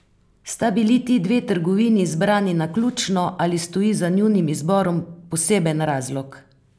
Sta bili ti dve trgovini izbrani naključno, ali stoji za njunim izborom poseben razlog?